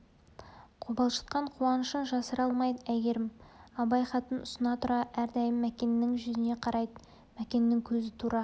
қобалжытқан қуанышын жасыра алмайды әйгерім абай хатын ұсына тұра әрдайым мәкеннің жүзіне қарайды мәкеннің көзі тура